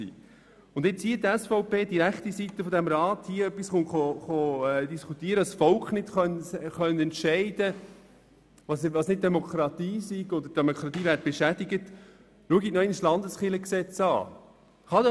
Wenn nun die SVP hier sagt, das Volk könne nicht entscheiden und das sei keine Demokratie oder die Demokratie sei beschädigt, dann schauen sie noch einmal das Landeskirchengesetz an.